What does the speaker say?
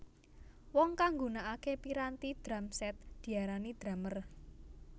Wong kang nggunakake piranti drum set diarani drumer